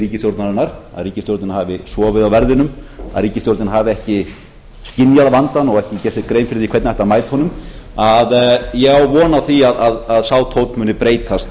ríkisstjórnarinnar að ríkisstjórnin hafi sofið á verðinum að ríkisstjórnin hafi ekki skynjað vandann og ekki gert sér grein fyrir því hvernig ætti að mæta honum að ég á von á því að sá tónn muni breytast